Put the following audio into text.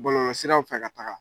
Bɔlɔlɔ siraw fɛ ka taa.